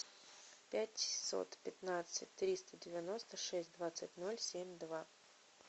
пятьсот пятнадцать триста девяносто шесть двадцать ноль семь два